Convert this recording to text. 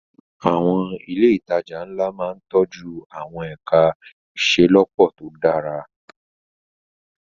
Àwọn ilé ìtajà ńlá máa ń tọ́jú àwọn ẹ̀ka ìṣelọ́pọ̀ tó dára.